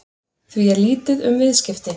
Því er lítið um viðskipti